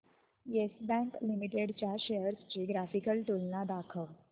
yes Bank Limited च्या shares ची graphical तुलना दाखव